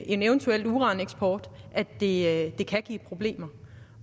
en eventuel uraneksport at det at det kan give problemer